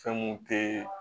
Fɛn mun te